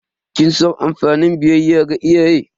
Kin san amfanin biyayya ga iyaye?